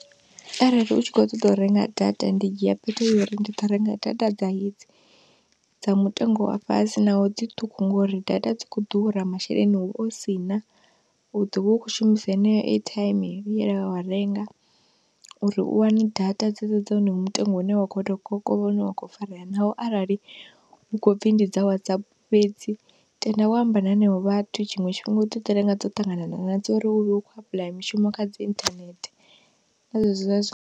Arali u tshi khou ṱoḓa u renga data ndi dzhia phetho uri ndi ḓo renga data dza hedzi dza mutengo wa fhasi naho dzi ṱhukhu, ngouri data dzi khou ḓura, masheleni hu vha hu sina, u ḓovha u khou shumisa heneyo airtime ye wa renga uri u wane data dzedzo dza honoyo mutengo une wa khou tou kokovha une wa khou farea, naho arali hu khou pfhi ndi dza Whatsapp fhedzi tenda wa amba na henevho vhathu. Tshiṅwe tshifhinga u ḓo ḓi renga dzo ṱangana na dzo uri u vhe u khou apuḽaya mishumo kha dzi internet, na .